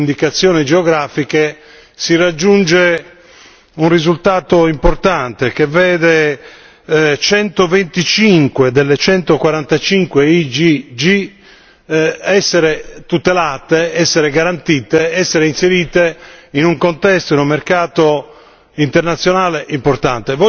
Con la tutela delle indicazioni geografiche si raggiunge un risultato importante che vede centoventicinque delle centoquarantacinque IGP essere tutelate, essere garantite, essere inserite in un contesto, in un mercato